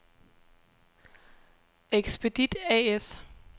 Expedit A/S